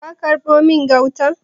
Ka karbo min gautan?